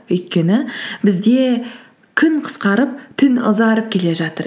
өйткені бізде күн қысқарып түн ұзарып келе жатыр